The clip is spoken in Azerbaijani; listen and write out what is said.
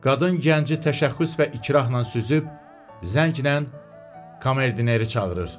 Qadın gənci təşəxxüs və ikrahla süzüb, zənglə komerdineri çağırır.